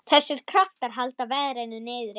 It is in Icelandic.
Þessir kraftar halda verðinu niðri.